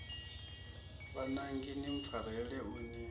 vhananga ni mpfarele u ni